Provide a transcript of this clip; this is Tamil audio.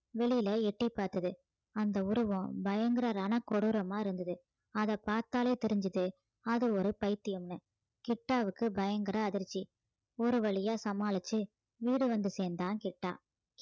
வெளியில எட்டிப் பார்த்தது அந்த உருவம் பயங்கர ரணக் கொடூரமா இருந்தது அதைப் பார்த்தாலே தெரிஞ்சுது அது ஒரு பைத்தியம்னு கிட்டாவுக்கு பயங்கர அதிர்ச்சி ஒரு வழியா சமாளிச்சு வீடு வந்து சேர்ந்தான் கிட்டா